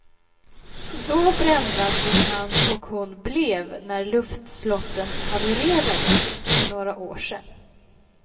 Så brända som han och hon blev när luftslotten havererade för några år sedan.